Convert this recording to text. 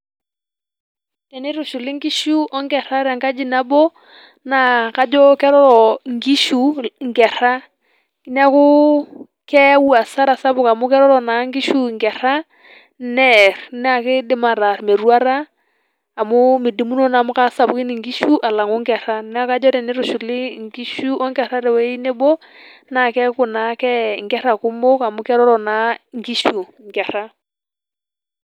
Tenetushuli nkishu o nkerra te enkaji naboo naa kajo keroro nkishu nkerra neeku keau hasara sapuk amu keroro na nkishu nkerra neer naa keidim ataar metuatata amu meidumuno amu kaasapukini nkishu alaang'uu nkerra. Naa kajo tenetushuli nkishu o nkerra tenewuoji neebo naa keaku naake nkerra kumok amu keroro naa nkishu nkerra.